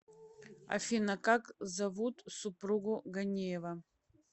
афина как зовут супругу ганеева